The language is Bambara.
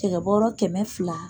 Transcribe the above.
Cɛkɛ bɔɔrɔ kɛmɛ fila.